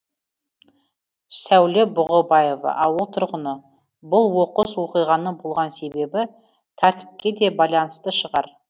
сәуле бұғыбаева ауыл тұрғыны бұл оқыс оқиғаның болған себебі тәртіпке де байланысты шығар